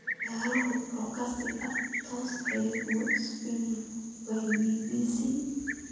ciyaaro podcast-ka toos ee ugu cusub by b.b.c